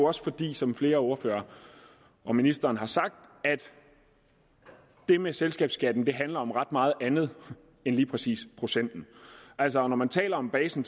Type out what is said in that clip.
også fordi som flere ordførere og ministeren har sagt det med selskabsskatten handler om ret meget andet end lige præcis procenten altså når man taler om basen